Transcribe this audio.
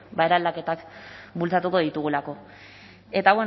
eraldaketak bultzatuko ditugulako eta